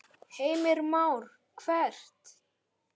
Heimir Már: Hvert?